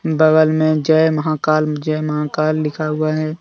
बागल में जय महाकाल जय महाकाल लिखा हुआ है।